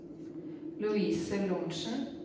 Louise Lorentzen